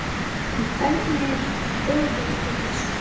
En hvernig er brugðist við þessu?